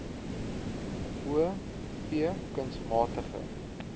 o v kunsmatige